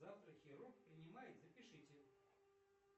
завтра хирург принимает запишите